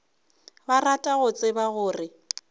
ba rata go tseba gore